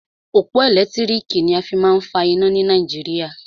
Òpó ẹ̀lẹ́tírìkì ni a fí má a ń fa iná ni Nàìjíríà.